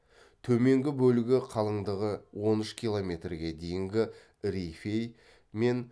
төменгі бөлігі қалыңдығы он үш километрге дейінгі рифей мен